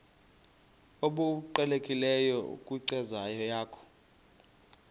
obuqhelekileyo kwinkcazo yakho